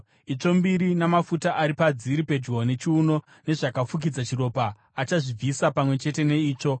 itsvo mbiri namafuta ari padziri pedyo nechiuno nezvakafukidza chiropa, achazvibvisa pamwe chete neitsvo,